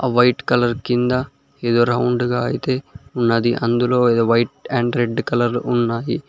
ఆ white colour కింద ఏదో రౌండ్ గా అయితే ఉన్నది అందులో ఏదో వైట్ అండ్ రెడ్ కలర్ ఉన్నాది.